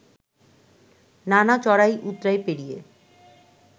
নানা চড়াই উৎরাই পেরিয়ে